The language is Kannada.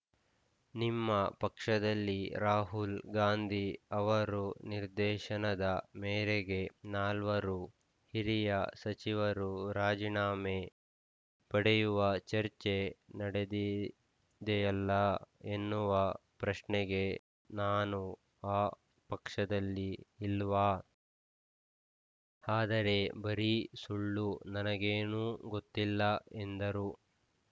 ನಿಮ್ಮ ಪಕ್ಷದಲ್ಲಿ ರಾಹುಲ್‌ ಗಾಂಧಿ ಅವರು ನಿರ್ದೇಶನದ ಮೇರೆಗೆ ನಾಲ್ವರು ಹಿರಿಯ ಸಚಿವರು ರಾಜಿನಾಮೆ ಪಡೆಯುವ ಚರ್ಚೆ ನಡೆದಿದೆಯಲ್ಲಾ ಎನ್ನುವ ಪ್ರಶ್ನೆಗೆ ನಾನೂ ಆ ಪಕ್ಷದಲ್ಲಿ ಇಲ್ವಾ ಆದರೆ ಬರೀ ಸುಳ್ಳು ನನಗೇನೂ ಗೊತ್ತಿಲ್ಲ ಎಂದರು